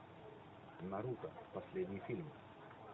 наруто последний фильм